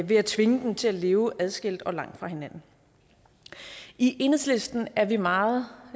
ved at tvinge dem til at leve adskilt og langt fra hinanden i enhedslisten er vi meget